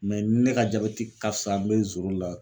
ne ka jabɛti ka fisa n be zoro la